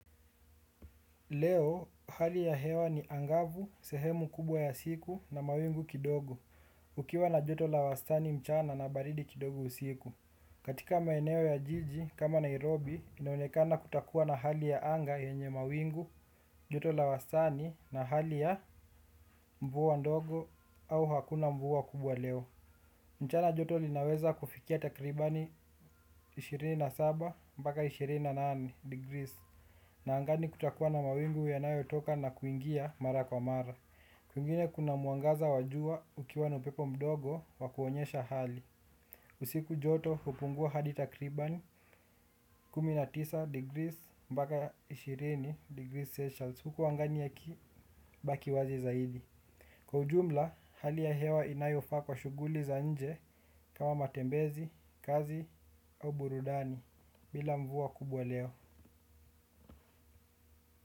Leo, hali ya hewa ni angavu, sehemu kubwa ya siku na mawingu kidogo, ukiwa na joto la wastani mchana na baridi kidogo usiku. Katika maeneo ya jiji kama Nairobi, inaonekana kutakuwa na hali ya anga yenye mawingu, joto la wastani na hali ya mvua ndogo au hakuna mvua kubwa leo. Mchana joto linaweza kufikia takribani ishirini na saba mpaka ishirini na nane degrees na angani kutakuwa na mawingu yanayotoka na kuingia mara kwa mara. Kwingine kuna mwangaza wa jua ukiwa na upepo mdogo wa kuonyesha hali. Usiku joto hupungua hadi takribani kumi na tisa degrees mpaka ishirini degrees Celsius. Kwa ujumla, hali ya hewa inayofaa kwa shuguli za nje kama matembezi, kazi au burudani bila mvua kubwa leo.